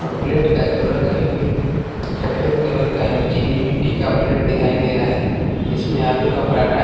और प्लेट का जो रंग है बिल्कुल सफेद कलर का है चीनी मिट्टी का प्लेट दिखाई दे रहा है इसमें आलू का पराठा है।